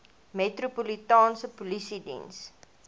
metropolitaanse polisie diens